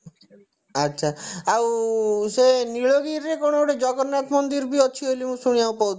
ଆଛା ଆଉ ସେ ନୀଳଗିରିରେ କଣ ଗୋଟେ ଜଗନ୍ନାଥ ମନ୍ଦିର ବି ଅଛି ବୋଲି ମୁଁ ଶୁଣିବାକୁ ପାଉଥିଲି